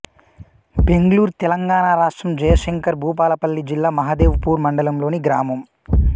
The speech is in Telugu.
బెగ్లూర్ తెలంగాణ రాష్ట్రం జయశంకర్ భూపాలపల్లి జిల్లా మహదేవ్ పూర్ మండలంలోని గ్రామం